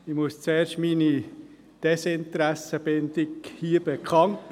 Ich muss hier zuerst meine «Desinteressenbindung» bekannt geben.